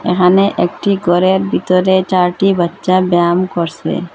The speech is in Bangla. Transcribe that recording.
এখানে একটি গরের ভিতরে চারটি বাচ্ছা ব্যাম করসে।